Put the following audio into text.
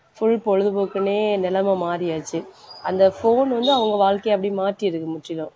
full பொழுதுபோக்குன்னே நிலைமை மாறியாச்சு. அந்த phone வந்து அவங்க வாழ்க்கைய அப்படியே மாத்தி இருக்கு முற்றிலும்